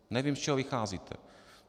Nevím, z čeho vycházíte.